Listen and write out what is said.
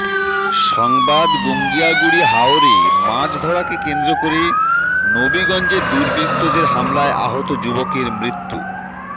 পরবর্তী সংবাদগুঙ্গিয়াহুড়ি হাওরে মাছ ধরাকে কেন্দ্র করে নবীগঞ্জে দুর্বৃত্তদের হামলায় আহত যুবকের মৃত্যু